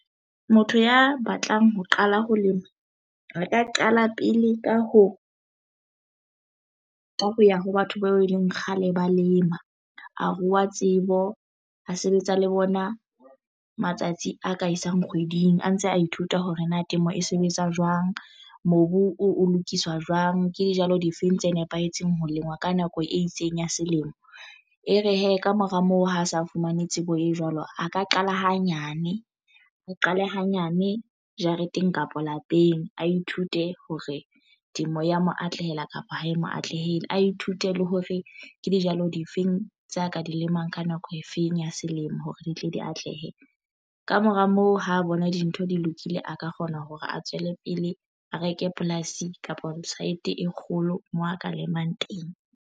Motho ya batlang ho qala ho lema re ka qala pele ka ho ya ho batho bao e leng kgale ba lema a rua tsebo a sebetsa le bona matsatsi a ka isang kgweding a ntse a ithuta hore na temo e sebetsa jwang mobu o lokiswa jwang. Ke dijalo difeng tse nepahetseng ho lengwa ka nako e itseng ya selemo e re hee kamora moo ho sa fumane tsebo e jwalo a ka qala hanyane re qale hanyane jareteng kapa lapeng a ithute hore temo ya mo atlehela kapa ha e mo atlehela a ithute le hore ke dijalo difeng tsa ka di lemang ka nako eo e feng ya selemo hore di tle di atlehe. Kamora moo ho bona dintho di lokile a ka kgona hore a tswele pele a reke polasi kapa saete e kgolo mo a ka lemang teng.